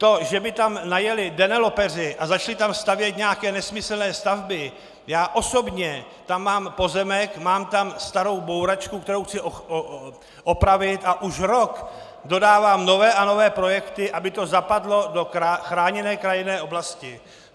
To, že by tam najeli developeři a začali tam stavět nějaké nesmyslné stavby, já osobně tam mám pozemek, mám tam starou bouračku, kterou chci opravit, a už rok dodávám nové a nové projekty, aby to zapadlo do chráněné krajinné oblasti.